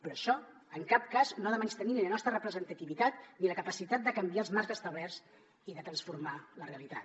però això en cap cas no ha de menystenir ni la nostra representativitat ni la capacitat de canviar els marcs establerts i de transformar la realitat